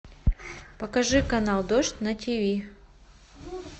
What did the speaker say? покажи канал дождь на тиви